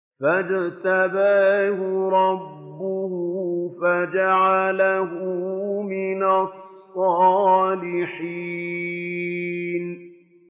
فَاجْتَبَاهُ رَبُّهُ فَجَعَلَهُ مِنَ الصَّالِحِينَ